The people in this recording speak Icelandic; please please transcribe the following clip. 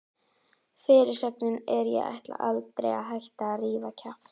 Fyrirsögnin er: Ég ætla aldrei að hætta að rífa kjaft!